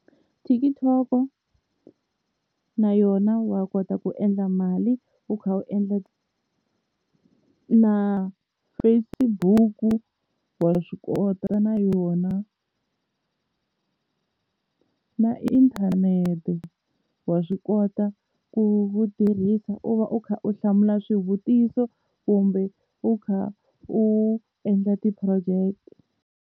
TikTok na yona wa kota ku endla mali u kha u endla na Facebook, wa swi kota na yona na inthanete wa swi kota ku u tirhisa u va u kha u hlamula swivutiso kumbe u kha u endla ti-project.